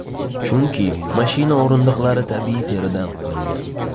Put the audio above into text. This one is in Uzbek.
Chunki mashina o‘rindiqlari tabiiy teridan qilingan.